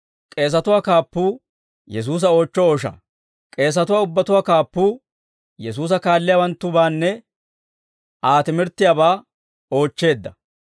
K'eesatuwaa ubbatuwaa Kaappuu, Yesuusa kaalliyaawanttubaane Aa timirttiyaabaa oochcheedda.